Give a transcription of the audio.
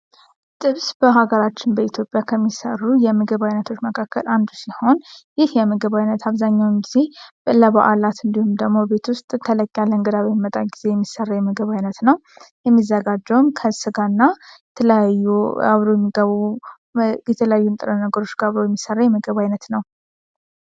ጥብስ በሀገራችን በኢትዮጵያ ከሚሰሩ የምግብ አይነቶች መካከል አንዱ ሲሆን ይህ የምግብ ዓይነት አብዛኛውን ጊዜ በዓላት እንዲሁም ደግሞ ቤት ውስጥ ተለጋ ጊዜ የሚሰራ የምግብ አይነት ነው። የሚዘጋጀውን ከስጋና የተለያዩ ነገሮች ጋር የሚሰራ የምግብ አይነት ነው።